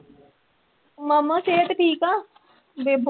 ਮਾਮਾ ਸਿਹਤ ਠੀਕ ਆ, ਬੇਬੋ,